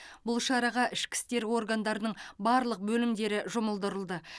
бұл шараға ішкі істер органдарының барлық бөлімдері жұмылдырылды